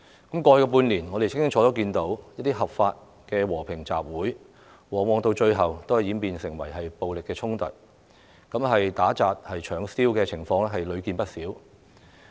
過去半年，我們清楚看到合法的和平集會，最後往往演變成暴力衝突，打、砸、搶燒的情況屢見不鮮。